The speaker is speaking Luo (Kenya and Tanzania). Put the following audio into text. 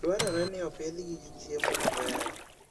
Dwarore ni opidhgi gi chiemo maber.